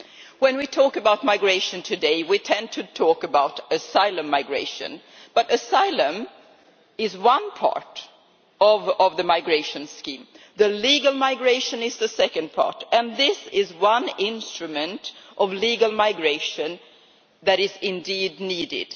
When we talk about migration today, we tend to talk about asylum migration, but asylum is just one part of the migration scheme. Legal migration is the second part, and this is one instrument of legal migration that is indeed needed.